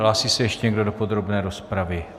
Hlásí se ještě někdo do podrobné rozpravy?